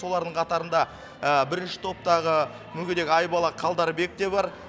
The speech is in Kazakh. солардың қатарында бірінші топтағы мүгедек айбала қалдарбек те бар